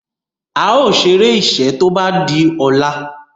ào ṣeré iṣé tó bá dì ola.